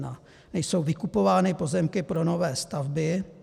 Nejsou vykupovány pozemky pro nové stavby.